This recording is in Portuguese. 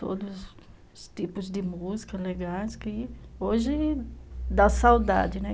Todos os tipos de músicas legais que hoje dá saudade, né?